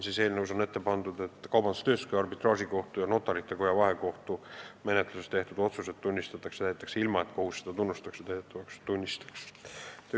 Eelnõus on ette pandud, et Kaubandus-Tööstuskoja arbitraažikohtu ja Notarite Koja vahekohtu tehtud otsused tunnistatakse täidetavaks ilma, et kohus neid täidetavaks tunnistaks.